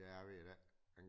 Ja jeg ved det